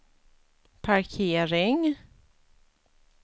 parkering